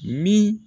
Ni